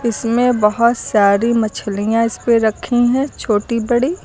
इसमें बहोत सारी मछलियां इस पे रखी हैं छोटी बड़ी।